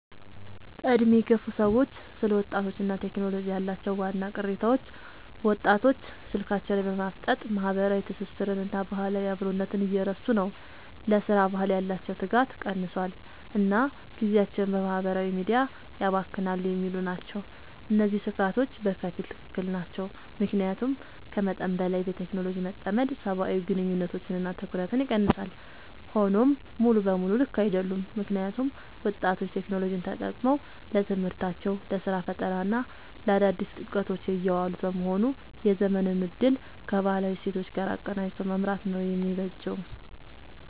በዕድሜ የገፉ ሰዎች ስለ ወጣቶችና ቴክኖሎጂ ያላቸው ዋና ቅሬታዎች፦ ወጣቶች ስልካቸው ላይ በማፍጠጥ ማህበራዊ ትስስርንና ባህላዊ አብሮነትን እየረሱ ነው: ለሥራ ባህል ያላቸው ትጋት ቀንሷል: እና ጊዜያቸውን በማህበራዊ ሚዲያ ያባክናሉ የሚሉ ናቸው። እነዚህ ስጋቶች በከፊል ትክክል ናቸው። ምክንያቱም ከመጠን በላይ በቴክኖሎጂ መጠመድ ሰብአዊ ግንኙነቶችንና ትኩረትን ይቀንሳል። ሆኖም ሙሉ በሙሉ ልክ አይደሉም: ምክንያቱም ወጣቶች ቴክኖሎጂን ተጠቅመው ለትምህርታቸው: ለስራ ፈጠራና ለአዳዲስ እውቀቶች እያዋሉት በመሆኑ የዘመኑን እድል ከባህላዊ እሴቶች ጋር አቀናጅቶ መምራት ነው የሚበጀው።